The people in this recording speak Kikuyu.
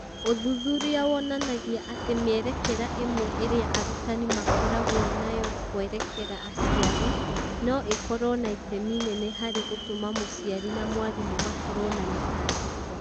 Ũthuthuria wonanagia atĩ mĩerekera ĩmwe ĩrĩa arutani makoragwo nayo kwerekera aciari no ĩkorũo na itemi inene harĩ gũtuma mũciari na mwarimũ makorũo na mĩtangĩko